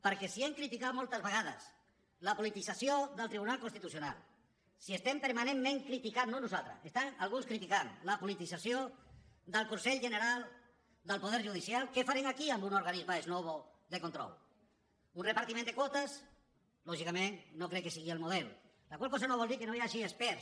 perquè si hem criticat moltes vegades la politització del tribunal constitucional si estem permanentment criticant no nosaltres si estan alguns criticant la politització del consell general del poder judicial què farem aquí en un organisme ex novo de control un repartiment de quotes lògicament no crec que sigui el model la qual cosa no vol dir que no hi hagi experts